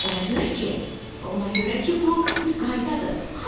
Ona görə ki, ona görə ki, bu bir qaydadır.